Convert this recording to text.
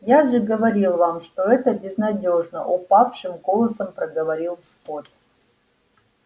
я же говорил вам что это безнадёжно упавшим голосом проговорил скотт